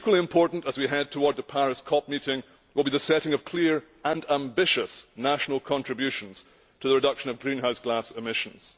Equally important, as we head towards the Paris COP meeting, will be the setting of clear and ambitious national contributions to the reduction of greenhouse gas emissions.